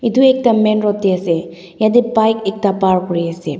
etu ekta main road te ase jatte bike ekta park kori ase.